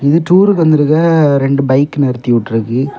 இது டூருக்கு வந்திருக்க ரெண்டு பைக் நிறுத்தி விட்ருக்கு.